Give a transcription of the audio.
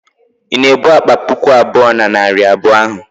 ị na-ebu akpa puku abụọ na narị abụọ ahụ?